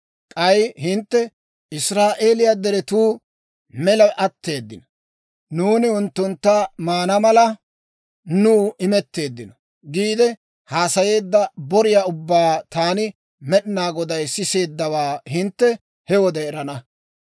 K'ay hintte, Israa'eeliyaa deretuu mela atteeddino; nuuni unttuntta maana mala, nuw imetteeddino› giide, haasayeedda boriyaa ubbaa taani Med'inaa Goday siseeddawaa hintte he wode erana.